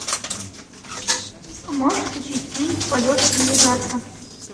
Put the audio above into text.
можешь включить фильм полет навигатора